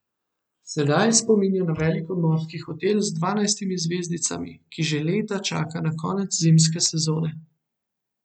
Sedaj spominja na velik obmorski hotel z dvanajstimi zvezdicami, ki že leta čaka na konec zimske sezone.